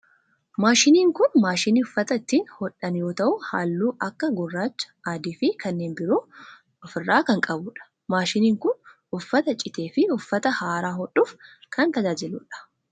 Maashiniin kun maashinii uffata ittiin hodhan yoo ta'u halluu akka gurraacha, adii fi kanneen biroo of irraa kan qabu dha. Maashiniin kun uffata citee fi uffata haaraa hodhuf kan tajaajiludha.